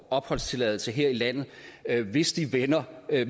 opholdstilladelse her i landet hvis de vælger at